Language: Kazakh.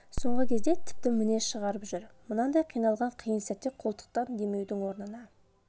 соңғы кезде тіпті мінез шығарып жүр мынандай қиналған қиын сәтте қолтықтан демеудің орнына